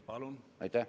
Palun!